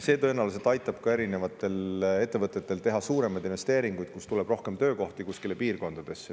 See tõenäoliselt aitab ka ettevõtetel teha suuremaid investeeringuid, nii et piirkondadesse tuleks rohkem töökohti.